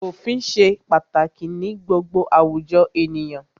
Òfin ṣe pàtàkì ní gbogbo àwùjọ ènìyàn.